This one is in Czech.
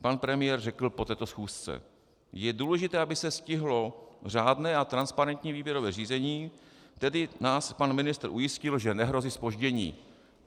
Pan premiér řekl po této schůzce: Je důležité, aby se stihlo řádné a transparentní výběrové řízení, tedy nás pan ministr ujistil, že nehrozí zpoždění.